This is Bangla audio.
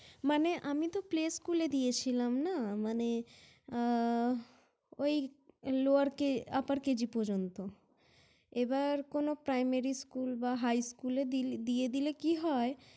মানে আমি তো Play School -এ দিয়েছিলাম নাহ! মানে ওই Lower upper KG পর্যন্ত। এবার কোনো Primary School বা High School -এ দিয়ে দিলে কি হয়